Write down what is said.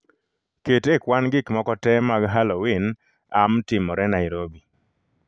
Ket e kwan gik moko tee mag Halloween amtimore Nairobi